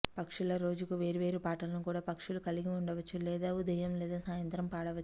పక్షుల రోజుకు వేర్వేరు పాటలను కూడా పక్షులు కలిగి ఉండవచ్చు లేదా ఉదయం లేదా సాయంత్రం పాడవచ్చు